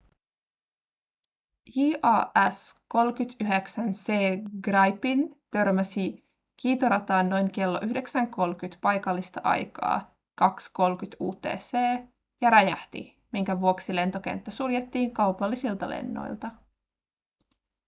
jas 39c gripen törmäsi kiitorataan noin kello 9.30 paikallista aikaa 2.30 utc ja räjähti minkä vuoksi lentokenttä suljettiin kaupallisilta lennoilta